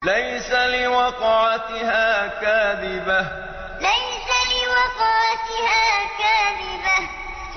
لَيْسَ لِوَقْعَتِهَا كَاذِبَةٌ لَيْسَ لِوَقْعَتِهَا كَاذِبَةٌ